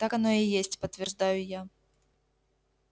так оно и есть подтверждаю я